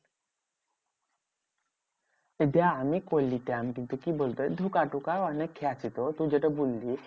বিহা আমি করলিতাম কিন্তু কি বলতো? ধোঁকা কোটা অনেক খেয়েছি তো তুই যেটা বললি।